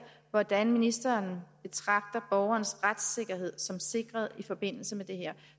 hvordan ministeren betragter borgerens retssikkerhed som sikret i forbindelse med det her